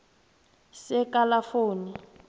sekalafoni